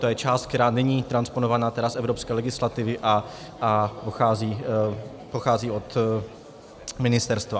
To je část, která není transponovaná z evropské legislativy a pochází od ministerstva.